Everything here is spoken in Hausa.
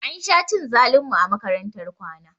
Ansha cin zalin mu a makarantar kwana